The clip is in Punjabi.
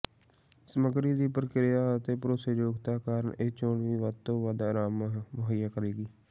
ਸਮੱਗਰੀ ਦੀ ਪ੍ਰਕਿਰਿਆ ਅਤੇ ਭਰੋਸੇਯੋਗਤਾ ਕਾਰਨ ਇਹ ਚੋਣ ਵੀ ਵੱਧ ਤੋਂ ਵੱਧ ਆਰਾਮ ਮੁਹੱਈਆ ਕਰੇਗੀ